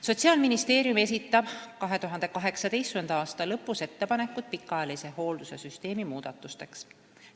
Sotsiaalministeerium esitab 2018. aasta lõpus ettepanekud pikaajalise hoolduse süsteemi muudatusteks.